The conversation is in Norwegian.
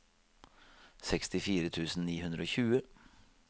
sekstifire tusen ni hundre og tjue